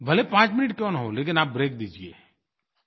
भले पांच मिनट क्यों न हो लेकिन आप ब्रेक दीजिए